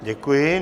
Děkuji.